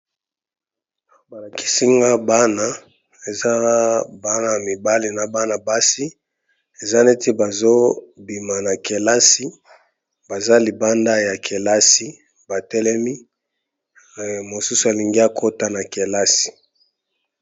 Balakisi nga bana eza bana mibale na bana basi eza neti bazobima na kelasi baza libanda ya kelasi batelemi mosusu alingi akota na kelasi.